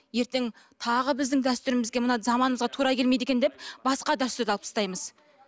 ертең тағы біздің дәстүрімізге мына заманымызға тура келмейді екен деп басқа дәстүрді алып тастаймыз